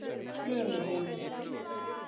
Trönuhólum